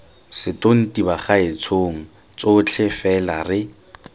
setonti bagaetshong botlhe fela re